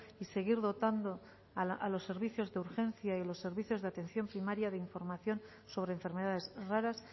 y seguir dotando a los servicios de urgencia y los servicios de atención primaria de información sobre enfermedades raras